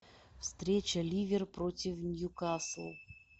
встреча ливер против нью касл